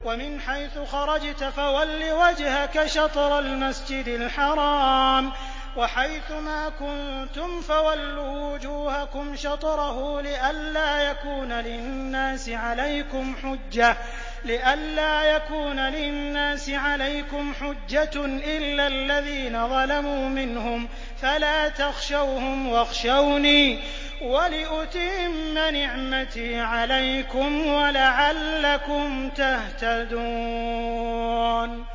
وَمِنْ حَيْثُ خَرَجْتَ فَوَلِّ وَجْهَكَ شَطْرَ الْمَسْجِدِ الْحَرَامِ ۚ وَحَيْثُ مَا كُنتُمْ فَوَلُّوا وُجُوهَكُمْ شَطْرَهُ لِئَلَّا يَكُونَ لِلنَّاسِ عَلَيْكُمْ حُجَّةٌ إِلَّا الَّذِينَ ظَلَمُوا مِنْهُمْ فَلَا تَخْشَوْهُمْ وَاخْشَوْنِي وَلِأُتِمَّ نِعْمَتِي عَلَيْكُمْ وَلَعَلَّكُمْ تَهْتَدُونَ